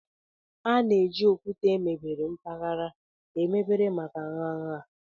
A na-eji okwute emebere mpaghara emebere maka nha nha.